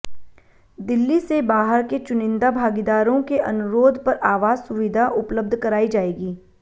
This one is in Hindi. दिल्ली से बाहर के चुनिंदा भागीदारों के अनुरोध पर आवास सुविधा उपलब्ध कराई जाएगी